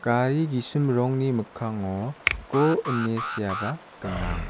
gari gisim rongni mikkango go ine seaba gnang.